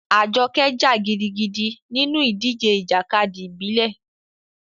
Ajoke jà gidigidi nínú ìdíje ìjàkadì ìbílẹ̀.